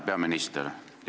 Härra peaminister!